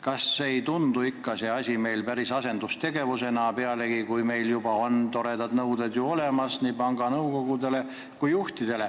Kas see asi ei tundu teile ikka asendustegevusena, kui meil juba on nii panga nõukogudele kui juhtidele toredad nõuded olemas?